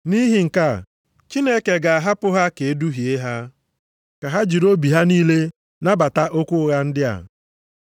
Nʼihi nke a, Chineke ga-ahapụ ha ka e duhie ha, ka ha jiri obi ha niile nabata okwu ụgha ndị a.